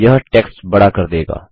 यह टेक्स्ट बड़ा कर देगा